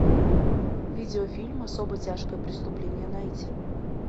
видеофильм особо тяжкое преступление найти